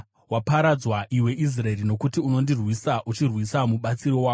“Waparadzwa iwe Israeri, nokuti unondirwisa, uchirwisa mubatsiri wako.